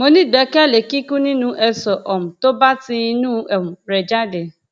mo nígbẹkẹlé kíkún nínú eéṣọ um tó bá ti inú um rẹ jáde